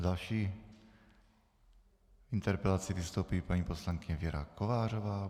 S další interpelací vystoupí paní poslankyně Věra Kovářová.